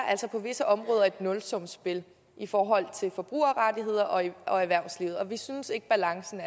altså på visse områder et nulsumsspil i forhold til forbrugerrettigheder og erhvervsliv og vi synes ikke balancen